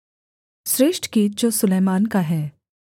श्रेष्ठगीत जो सुलैमान का है